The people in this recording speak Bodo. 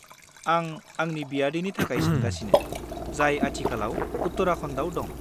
आं आंनि बियादैनि थाखाय सोंगासिनो, जाय आथिखालाव उत्तराखन्डाव दं।